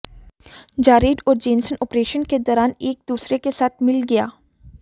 Jared और Jensen operation के दौरान एक दूसरे के साथ मिल गया